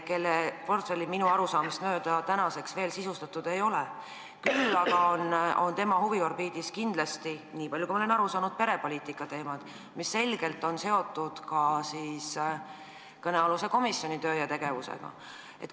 Selle ministri portfelli minu arusaamist mööda veel sisustatud ei ole, küll aga on tema huviorbiidis kindlasti, niipalju kui ma olen aru saanud, perepoliitika, mis on selgelt seotud ka kõnealuse komisjoni töö ja tegevusega.